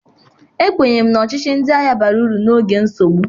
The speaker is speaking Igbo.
Ekwenyere m na ọchịchị ndị agha bara uru n'oge nsogbu.